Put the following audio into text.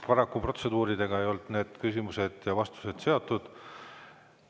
Paraku protseduuridega ei olnud need küsimused ja vastused seotud.